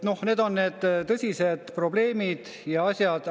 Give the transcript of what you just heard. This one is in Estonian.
Need on kõik tõsised probleemid ja asjad.